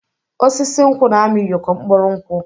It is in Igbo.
Osisi nkwụ na-amị ụyọkọ mkpụrụ nkwụ.